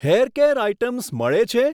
Hair care items મળે છે?